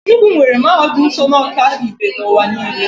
Enugwu nwere mahadum so na ọka ibe n'ụwa niile.